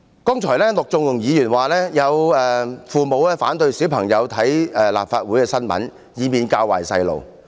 剛才陸頌雄議員說，有父母反對小孩看關於立法會的新聞，以免他們被教壞。